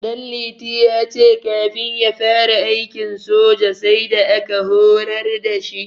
Ɗanliti ya ce kafin ya fara aikin soja, sai da aka horar da shi.